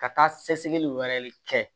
Ka taa sɛgɛsɛgɛli wɛrɛ kɛ